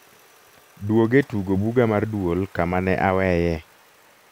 duog e tugo buga mar duol kama ne aweye